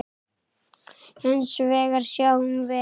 Hins vegar sjáum við